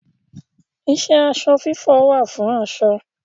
Iṣẹ́ aṣọ fífọ̀ wà fún aṣọ.